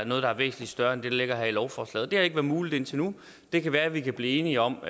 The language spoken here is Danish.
noget der er væsentlig større end det der ligger her i lovforslaget det har ikke været muligt indtil nu det kan være vi kan blive enige om